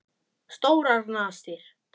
Stórar nasir.